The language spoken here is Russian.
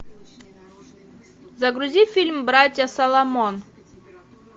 загрузи фильм братья соломон